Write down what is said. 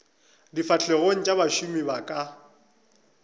difahlegong tša bašomi ba ka